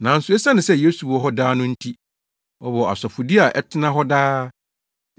Nanso esiane sɛ Yesu wɔ hɔ daa no nti, ɔwɔ asɔfodi a ɛtena hɔ daa.